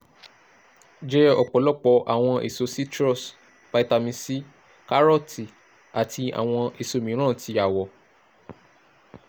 jẹ ọpọlọpọ awọn eso citrus (vitamin c) karooti ati awọn eso miiran ti awọ